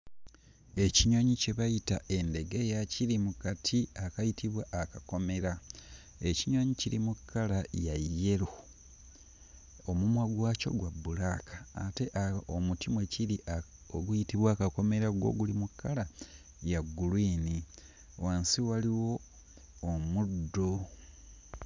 Ekinyonyi kye bayita endegeya kiri mu kati akayitibwa akakomera, ekinyonyi kiri mu kkala ya yellow, omumwa gwakyo gwa bbulaaka ate uh omuti mwe kiri uh oguyitibwa akakomera ggwo guli mu kkala ya gguliini wansi waliwo omuddo.